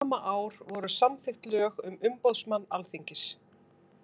Sama ár voru samþykkt lög um umboðsmann Alþingis.